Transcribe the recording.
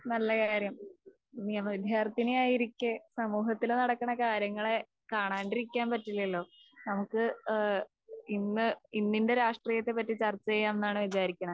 നല്ല കാര്യം. നിയമ വിദ്യാർത്ഥിനിയായിരിക്കെ സമൂഹത്തില് നടക്കണ കാര്യങ്ങളെ കാണാണ്ടിരിക്കാൻ പറ്റില്ലല്ലോ. നമുക്ക് ഏഹ് ഇന്ന് ഇന്നിന്റെ രാഷ്ട്രീയത്തെപ്പറ്റി ചർച്ചചെയ്യാം എന്നാണ് വിചാരിക്കണെ.